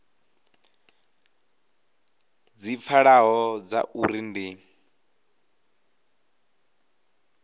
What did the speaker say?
dzi pfalaho dza uri ndi